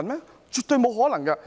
這是絕對不可能的。